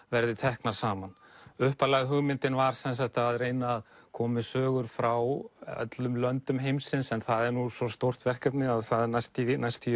verði teknar saman upphaflega hugmyndin var að reyna að koma með sögur frá öllum löndum heimsins en það er nú svo stórt verkefni að það er næstum næstum